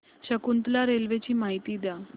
Shakuntala railway ची माहिती द्या